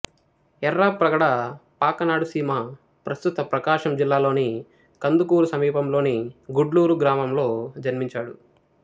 ఎఱ్ఱాప్రగడ పాకనాడు సీమ ప్రస్తుత ప్రకాశం జిల్లాలోని కందుకూరు సమీపంలోని గుడ్లూరు గ్రామములో జన్మించాడు